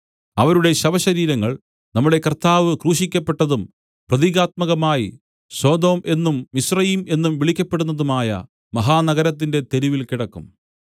അവരുടെ ശവശരീരങ്ങൾ നമ്മുടെ കർത്താവ് ക്രൂശിക്കപ്പെട്ടതും പ്രതീകാത്മകമായി സൊദോം എന്നും മിസ്രയീം എന്നും വിളിക്കപ്പടുന്നതുമായ മഹാനഗരത്തിന്റെ തെരുവിൽ കിടക്കും